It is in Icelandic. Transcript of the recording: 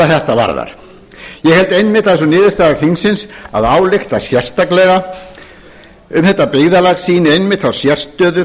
þetta varðar ég held einmitt að sú niðurstaða þingsins að álykta sérstaklega um þetta byggðarlag sitt einmitt þá sérstöðu